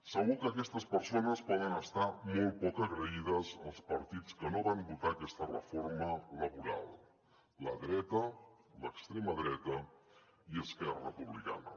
segur que aquestes persones poden estar molt poc agraïdes als partits que no van votar aquesta reforma laboral la dreta l’extrema dreta i esquerra republicana